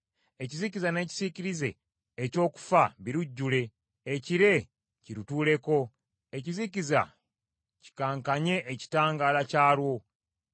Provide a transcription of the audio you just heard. Ekizikiza n’ekisiikirize eky’okufa birujjule, ekire kirutuuleko, ekizikiza kikankanye ekitangaala kyalwo.